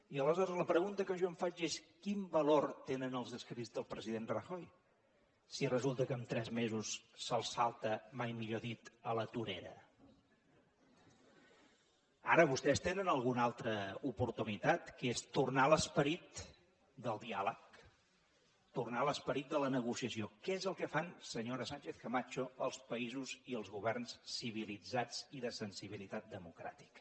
i aleshores la pregunta que jo em faig és quin valor tenen els escrits del president rajoy si resulta que en tres mesos se’ls salta mai millor dit a la torera ara vostès tenen alguna altra oportunitat que és tornar a l’esperit del diàleg tornar a l’esperit de la negociació que és el que fan senyora sánchez camacho els països i els governs civilitzats i de sensibilitat democràtica